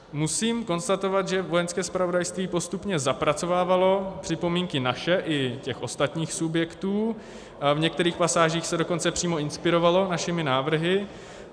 Musím konstatovat, že Vojenské zpravodajství postupně zapracovávalo připomínky naše i těch ostatních subjektů, v některých pasážích se dokonce přímo inspirovalo našimi návrhy.